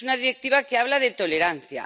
es una Directiva que habla de tolerancia